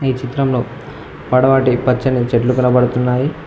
చిత్రంలో పడవటి పచ్చని చెట్లు కనబడుతున్నాయి.